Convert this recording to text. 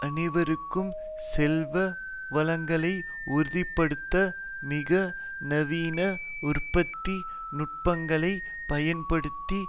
அனைவருக்கும் செல்வவளங்களை உறுதி படுத்த மிக நவீன உற்பத்தி நுட்பங்களைப் பயன்படுத்தி